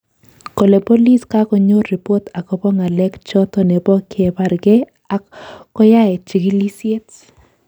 Kale bolis kakonyor ribot akobo ng'alek choto nebo kebargei ak koyae chigilisyet